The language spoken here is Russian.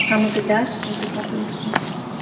кому ты дашь эту попытку